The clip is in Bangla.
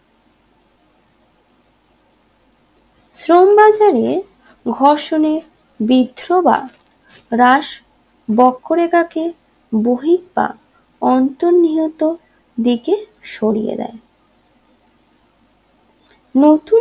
নিয়ে ঘর্ষণে ব্রিদ্ধ বা হ্রাস বক্ষরেখাকে বহির বা অন্তর নিহত দিকে সরিয়ে দেয় নতুন